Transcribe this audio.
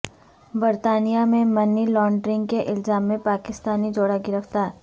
برطانیہ میں money laundering کے الزام میں پاکستانی جوڑا گرفتار